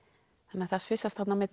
þannig að það svissast þarna á milli